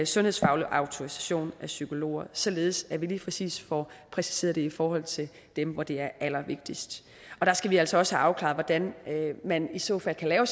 sundhedsfaglig autorisation af psykologer således at vi lige præcis får præciseret det i forhold til dem hvor det er allervigtigst der skal vi altså også have afklaret hvordan man i så fald kan lave